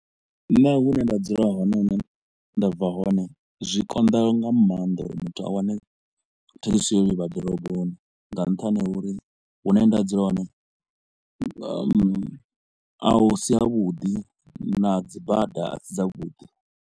Nṋe hune nda dzula hone hune nda bva hone zwi konḓa nga maanḓa uri muthu a wane thekhisi ya u livha ḓoroboni nga nṱhani ha uri hune nda dzula hone ahm a si ha vhuḓi na dzibada a si dza vhuḓi.